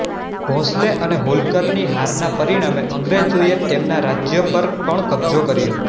ભોંસલે અને હોલકરની હારના પરિણામે અંગ્રેજોએ તેમના રાજ્યો પર પણ કબ્જો કર્યો